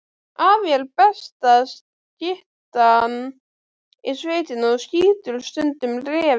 Afi er besta skyttan í sveitinni og skýtur stundum refi.